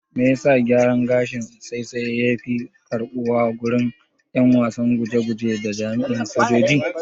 Me yasa gyaran gashin saisaye yafi karɓuwa agurin ƴan wasan guje guje da jami'an sojoji.